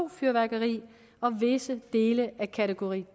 fyrværkeri og visse dele af kategori